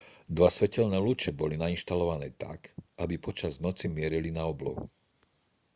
dva svetelné lúče boli nainštalované tak aby počas noci mierili na oblohu